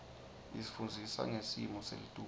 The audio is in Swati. isifundzisa ngesmo selitulu